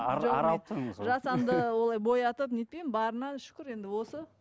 жасанды олай боятып нетпеймін барына шүкір енді осы